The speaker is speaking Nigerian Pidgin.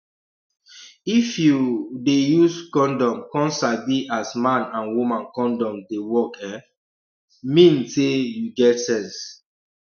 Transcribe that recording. if you um dey use condom come sabi as man and woman condom dey work e um mean say you get sense